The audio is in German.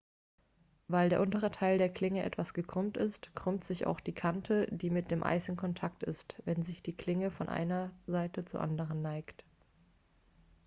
weil der untere teil der klinge etwas gekrümmt ist krümmt sich auch die kante die mit dem eis in kontakt ist wenn sich die klinge von einer seite zur anderen neigt